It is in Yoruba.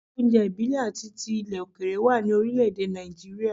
Ilé oúnjẹ ìbílẹ̀ àti ilẹ̀ òkèèrè wà ní orílẹ̀ èdè Nàìjíríà.